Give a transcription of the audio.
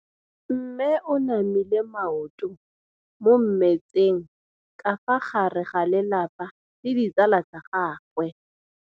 Mme o namile maoto mo mmetseng ka fa gare ga lelapa le ditsala tsa gagwe.